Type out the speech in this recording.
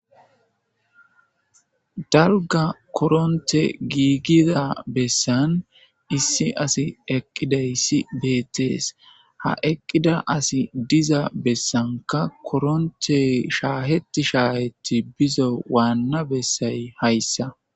Dalga coronte gigida bessan issi asi eqidaysi betas ha eqida asi diza bassanika coronte shaheti shaheti bizo wana bessay hayisa.